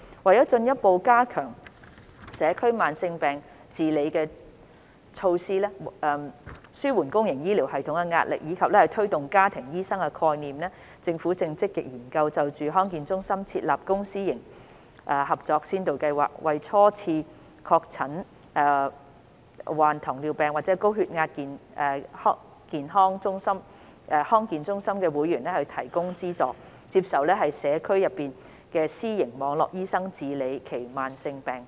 為進一步加強社區慢性疾病治理的措施，紓緩公營醫療系統的壓力，以及推動家庭醫生概念，政府正積極研究就康健中心設立公私營協作先導計劃，為初次確診罹患糖尿病或高血壓的康健中心會員提供資助，接受社區內的私營網絡醫生治理其慢性疾病。